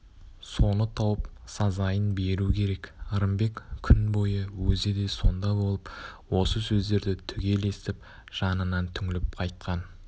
соны тауып сазайын беру керек ырымбек күн бойы өзі де сонда болып осы сөздерді түгел естіп жанынан түңіліп қайтқан